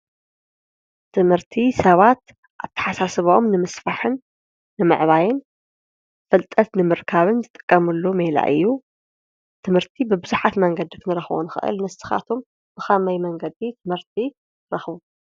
ትምህርቲ ሰባት አተሓሳስብኦምን ንምስፋሕን ንምዕባይን ፍልጠት ንምርካብን ዝጥቀመሉ ሜላ እዩ። ትምህርቲ ብቡዛሓት መንገዲ ክንረክቦ ንክእል ንስካትኩም ብከመይ መንገዲ ትምህርቲ ትረክቡ?